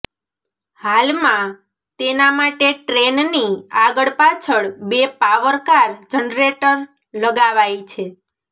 હાલમાં તેના માટે ટ્રેનની આગળ પાછળ બે પાવર કાર જનરેટર લગાવાય છે